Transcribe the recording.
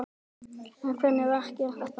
En hvernig verk er þetta?